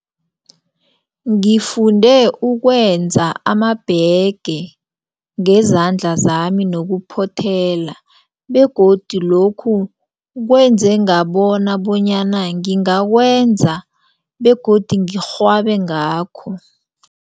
Ngifunde ukwenza amabhege ngezandla zami nokuphothela begodu lokhu kwenze ngabona bonyana ngingawenza begodu ngirhwabe ngakho.